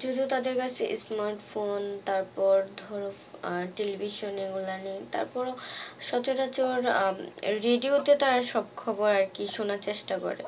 যেহেতু তাদের কাছে smart phone তারপর ধর আহ television এগুলো নেই তারপর ও সচারাচর আহ radio তে তারা সব খবর আরকি শুনার চেষ্টা করে